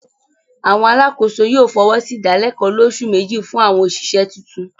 àwọn alákòóso yóò fọwọ́sí ìdálẹ̀kọ́ olósù méjì fún àwọn òṣìṣẹ́ tuntun.